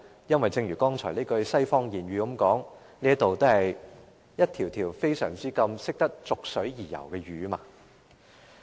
因為正如剛才那句西方諺語所指，這議會內有很多逐水而游的魚。